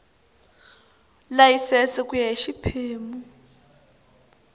layisense ku ya hi xiphemu